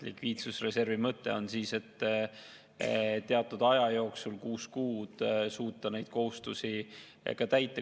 Likviidsusreservi mõte on teatud aja jooksul – kuus kuud – suuta neid kohustusi ka täita.